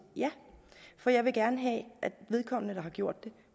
ja for jeg vil gerne have at vedkommende der har gjort det